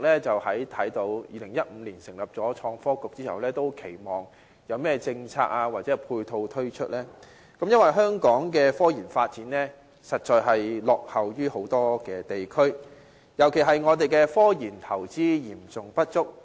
在2015年成立創科局後，市民很期望看到有甚麼政策或配套推出，因為香港的科研發展實在落後於很多地區，我們的科研投資尤其嚴重不足。